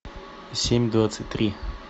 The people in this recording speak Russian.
семь двадцать три